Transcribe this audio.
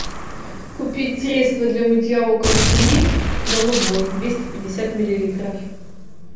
купить средство для мытья окон клин голубой двести пятьдесят миллилитров